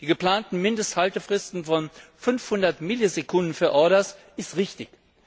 Die geplanten Mindesthaltefristen von 500 Millisekunden für Orders sind richtig.